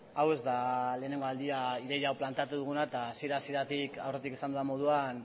hau ez da lehengo aldia ideia hau planteatu duguna eta hasiera hasieratik aurretik esan dudan moduan